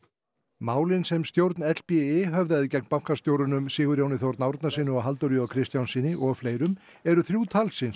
málin sem stjórn höfðaði gegn bankastjórunum Sigurjóni þ Árnasyni og Halldóri j Kristjánssyni og fleirum eru þrjú talsins